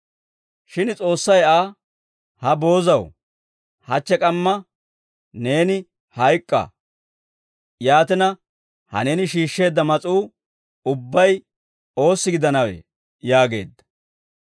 «Shin S'oossay Aa, ‹Ha boozaw, hachche k'amma neeni hayk'k'a. Yaatina ha neeni shiishsheedda mas'uu ubbay oossi gidanawee?› yaageedda.